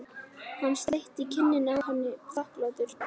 Hann sleikti kinnina á henni þakklátur.